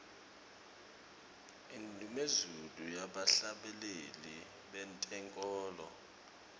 indnumezulu yebahlabeleli bentenkholo